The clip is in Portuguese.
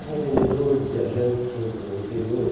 Sim. Tinha vendedores, viajantes que iam para o interior.